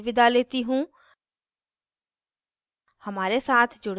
I I T Bombay से मैं श्रुति आर्य अब आपसे विदा लेती हूँ